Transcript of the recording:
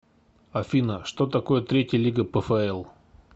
афина что такое третья лига пфл